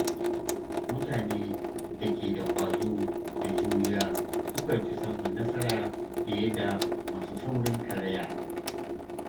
Mutane da ke da ƙwazo da juriya sukan fi samun nasara fiye da masu saurin karaya.